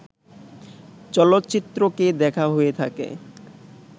চলচ্চিত্রকে দেখা হয়ে থাকে